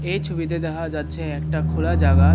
এই ছবিতে দেখা যাচ্ছে একটা খোলা জাগার --